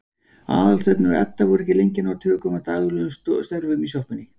Aðalsteinn og Edda voru ekki lengi að ná tökum á daglegum störfum í sjoppunni.